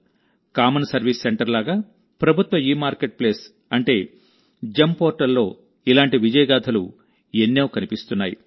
common service centre లాగా ప్రభుత్వ e marketplace అంటే జిఇఎం పోర్టల్లో ఇలాంటి విజయగాథలు ఎన్ని కనిపిస్తున్నాయి